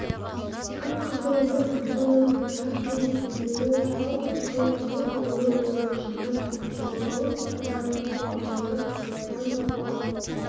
қып-қызыл өрт машинасы тас төбесіндегі жалғыз көз мың құбылып ойнақшыған жалмауыз сыпыра қуып алаңды қоқыстан тазалап